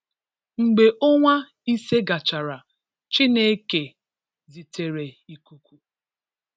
Mgbe onwa ise gachara, Chineke zitere ikuku.